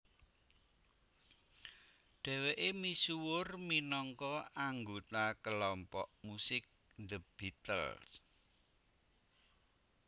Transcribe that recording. Dhèwèké misuwur minangka anggota kelompok musik The Beatles